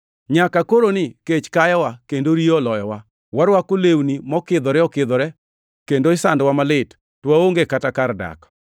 Nyaka koroni kech kayowa kendo riyo oloyowa. Warwako lewni mokidhore okidhore, kendo isandowa malit, ka waonge kata kar dak.